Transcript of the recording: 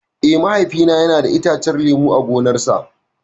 Eh, Mahaifina yana da itacen lemu a gonarsa.